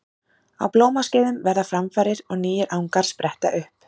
Á blómaskeiðum verða framfarir og nýir angar spretta upp.